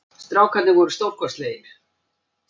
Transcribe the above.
Strákarnir voru stórkostlegir